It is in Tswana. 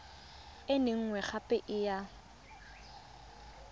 e nngwe gape e ya